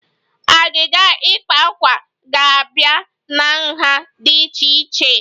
Agịga ikpa akwa ga-abịa na nha dị iche iche